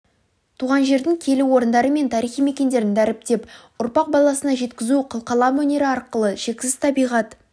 туған жердің киелі орындары мен тарихи мекендерін дәріптеп ұрпақ баласына жеткізу қылқалам өнері арқылы шексіз табиғат